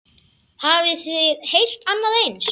Hafið þið heyrt annað eins?